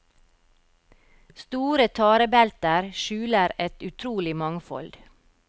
Store tarebelter skjuler et utrolig mangfold.